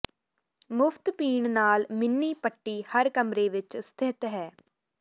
ਮੁਫ਼ਤ ਪੀਣ ਨਾਲ ਮਿੰਨੀ ਪੱਟੀ ਹਰ ਕਮਰੇ ਵਿੱਚ ਸਥਿਤ ਹੈ